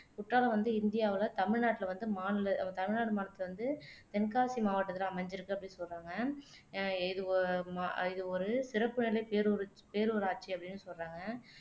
குற்றாலம் வந்து இந்தியாவுல தமிழ்நாட்டுல வந்து மாநில தமிழ்நாடு மாநிலத்துல வந்து தென்காசி மாவட்டத்துல அமைஞ்சிருக்கு அப்படின்னு சொல்றாங்க அஹ் இது ஒ ம இது ஒரு சிறப்புநிலை பேரூரட்ச் பேரூராட்சி அப்படின்னு சொல்றாங்க